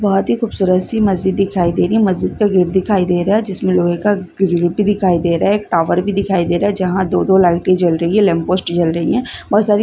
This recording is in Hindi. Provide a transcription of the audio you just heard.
बहोत ही खूबसूरत सी मस्जिद दिखाई दे रही है मस्जिद का गेट दिखाई दे रहा है जिसमें लोहे का ग्रिल भी दिखाई दे रहा है एक टावर भी दिखाई रहा है जहाँ दो दो लाइटें जल रही है लैंपोस्ट जल रही है बहोत सारी --